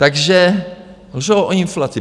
Takže lžou o inflaci.